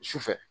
Sufɛ